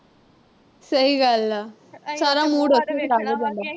ਸਹੀ ਗੱਲ ਆ ਸਾਰਾ mood ਉਥੇ ਹੀ ਖਰਾਬ ਹੋ ਜਾਂਦਾ।